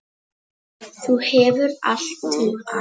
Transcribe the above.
Þú hefur allt til alls.